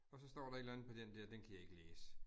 Og så står der et eller andet på den der, den kan jeg ikke læse